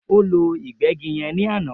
O ló ìgbégí yen ní àná